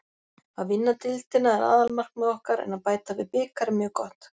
Að vinna deildina er aðalmarkmið okkar en að bæta við bikar er mjög gott.